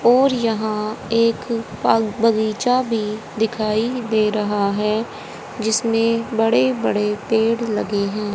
और यहां एक बगीचा भी दिखाई दे रहा है जिसमें बड़े बड़े पेड़ लगे हैं।